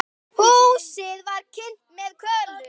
Húsið var kynt með kolum.